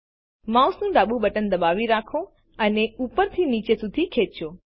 માઉસનું ડાબુ બટન દબાવી રાખો અને ઉપર થી નીચે સુધી ખેંચો